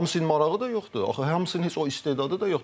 Hamısı indi marağı da yoxdur, axı hamısının heç o istedadı da yoxdur.